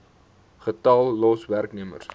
getal los werknemers